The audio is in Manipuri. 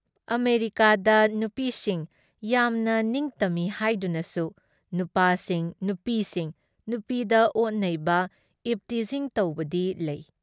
ꯑꯃꯦꯔꯤꯀꯥꯗ ꯅꯨꯄꯤꯁꯤꯡ ꯌꯥꯝꯅ ꯅꯤꯡꯇꯝꯃꯤ ꯍꯥꯏꯗꯨꯅꯁꯨ ꯅꯨꯄꯥꯁꯤꯡ ꯅꯨꯄꯤꯁꯤꯡ ꯅꯨꯄꯤꯗ ꯑꯣꯠꯅꯩꯕ, ꯏꯚꯇꯤꯖꯤꯡ ꯇꯧꯕꯗꯤ ꯂꯩ ꯫